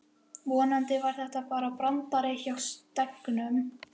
Vonandi var þetta bara brandari hjá Steggnum.